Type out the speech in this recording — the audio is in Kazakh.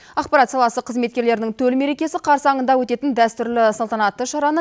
ақпарат саласы қызметкерлерінің төл мерекесі қарсаңында өтетін дәстүрлі салтанатты шараны